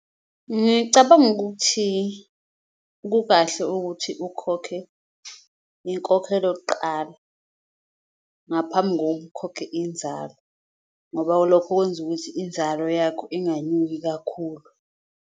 Ngicabanga ukuthi kukahle ukuthi ukhokhe inkokhelo kuqala ngaphambi kokukhokhe inzalo, ngoba lokho kwenza ukuthi inzalo yakho inganyuki kakhulu.